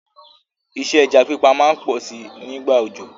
Isẹ́ ẹja pípa má n pọ si nígbà òjò